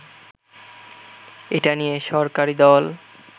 এটা নিয়ে সরকারি দল